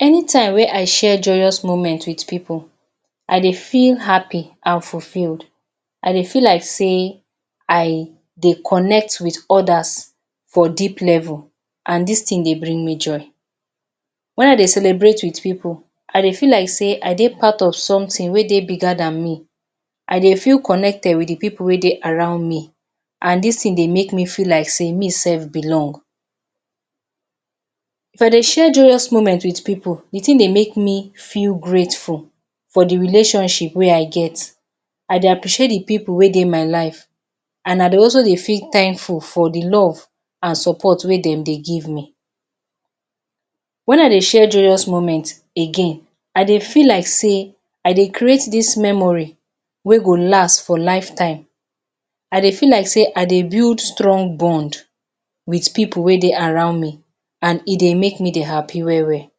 Anytime wey I share joyous moment with pipu, I dey feel happy and fulfilled. I dey feel like sey I dey connect with others for deep level and dis thing dey bring me joy. When I dey celebrate with pipu, I dey feel like sey I dey part of something wey dey bigger than me. I dey feel connected with the people wey dey around me and dis thing dey make me feel like sey meself belong. If I dey share joyous moment with pipu, the thing dey make me feel grateful for the relationship wey I get, I dey appreciate the pipu wey dey my life and I dey also dey feel thankful for the love and support wey dem dey give me. When I dey share joyous moment again, I dey feel like sey I dey create dis memory wey go last for lifetime. I dey feel like sey I dey build strong bond with pipu wey dey around me and e dey make me dey happy well well.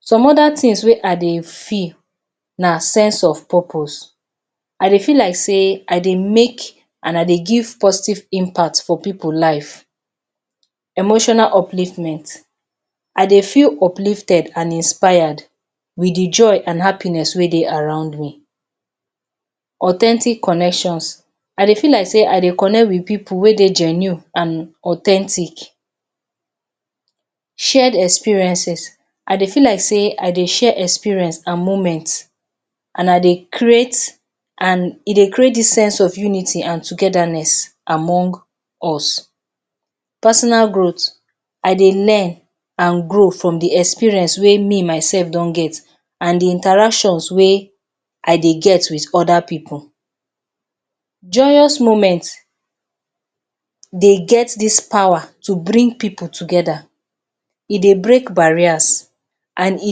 Some other things wey I dey feel na sense of purpose. I dey feel like sey I dey make and I dey give positive impact for pipu live. Emotional upliftment, I dey feel uplifted and inspire with the joy and happiness wey dey around me. Authentic connections, I dey feel like sey I connect with pipu wey dey genuine and authentic. Shared experiences, I dey feel like sey I dey share experience and moments and I dey create and e dey create dis sense of unity and togetherness among us. Personal growth, I dey learn and grow from the experience wey me myself don get and the interactions wey I dey get with other pipu. Joyous moments dey get this power to bring pipu together. E dey break barriers and e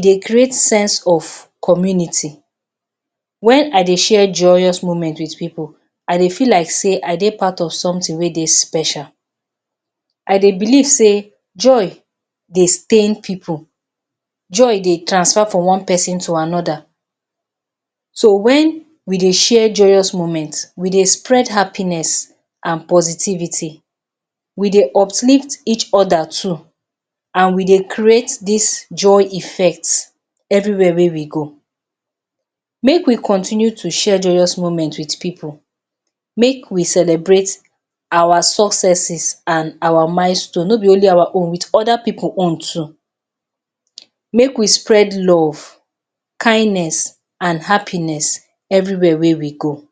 dey create sense of community. When I dey share joyous moment with pipu, I dey feel like sey I dey part of something wey dey special. I dey believe sey joy dey stain pipu. Joy dey transfer from one pesin to another. So when we dey share joyous moment, we dey spread happiness and positivity. We dey uplift each other too and we dey create dis joy effect everywhere wey we go. Make we continue to share joyous moment with people. Make we celebrate our successes and our milestone, no be only our own with other pipu own too. Make we spread love, kindness and happiness everywhere wey we go.